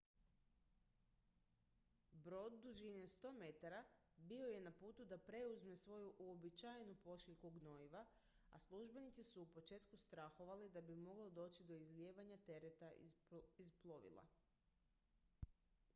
brod dužine 100 metara bio je na putu da preuzme svoju uobičajenu pošiljku gnojiva a službenici su u početku strahovali da bi moglo doći do izlijevanja tereta iz plovila